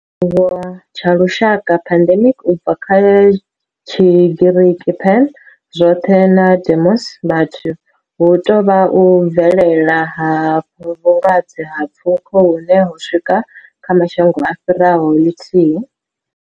Tshiwo tsha lushaka, pandemic, u bva kha Tshigiriki pan, zwoth' na demos, vhathu, hu tou vha u bvelela ha vhulwadze ha pfuko hune ho swika kha mashango a fhiraho ḽithihi.